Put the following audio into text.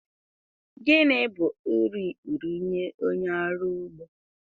Gịnị bụ uru ikpuru nye onye ọrụ ugbo